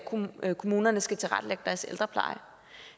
kommunerne skal tilrettelægge deres ældrepleje